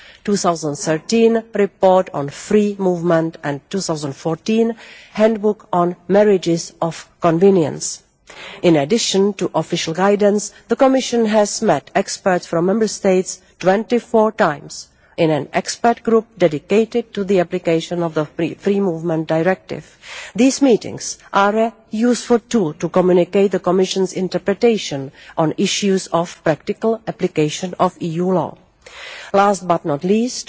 in 2013, the report on free movement and in 2014, the Handbook on marriages of convenience. In addition to official guidance, the Commission has met experts from Member States twenty four times in an expert group dedicated to the application of the Free Movement Directive. These meetings are a useful tool to communicate the Commission's interpretation on issues of practical application of EU law. Last but not